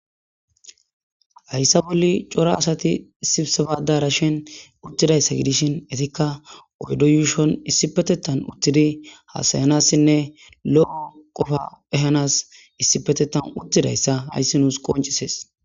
hayssa bolli cora asati sibsabada rashen uttidayssa gidishin etikka oydo yuushon issi petettan uttidi hasayanassinne lo7o qofa ehanas issi petetan uttidayssa hayssi nuus qoncisees